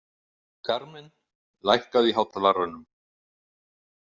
Carmen, lækkaðu í hátalaranum.